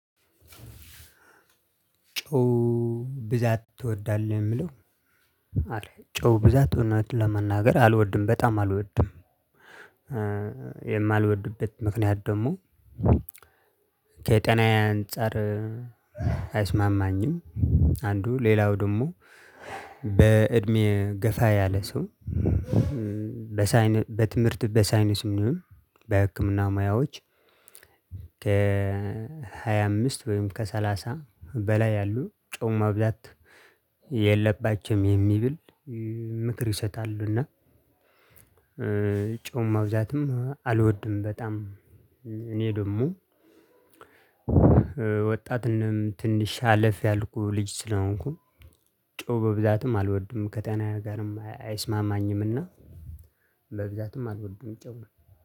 ጨው ብዛት ትወዳለህ? የምለው አለ ጨው ብዛት እውነት ለመናገር አልወድም በጣም አልወድም። የማልወድበት ምክንያት ደግሞ ከጤናዬ አንፃር አይስማማኝም። አንዱ ሌላው ደግሞ በእድሜ ገፋ ያለ ሰው። በሳይን በትምህርት በሳይንስም ይሆን በህክምና ሙያዎች ከሃያ አምስት ወይም ከሰላሳ በላይ ያሉ ጨው ማብዛት የለባቸውም የሚብል ምክር ይሰጣሉና። ጨው ማብዛትም አልወድም። በጣም እኔ ደግሞ ወጣትነት ትንሽ አለፍ ያልኩ ልጅ ስለሆንኩኝ ጨው በብዛትም አልወድም ከጤና ጋርም አይስማማኝምና። በብዛትም አልወድም ጨውን